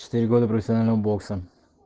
четыре года профессионального бокса